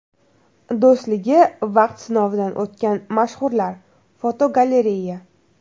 Do‘stligi vaqt sinovidan o‘tgan mashhurlar (fotogalereya).